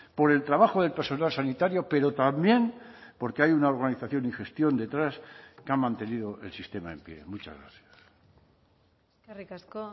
por el trabajo del personal sanitario pero también porque hay una organización y gestión detrás que ha mantenido el sistema en pie muchas gracias eskerrik asko